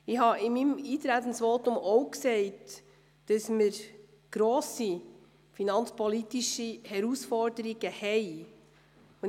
Ich habe in meinem Eintretensvotum auch gesagt, dass wir grosse finanzpolitische Herausforderungen haben.